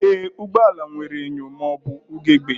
Ee, ụgbọ ala nwere enyo ma ọ bụ ugegbe